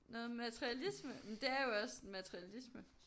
Noget materialisme? Det er jo også materialisme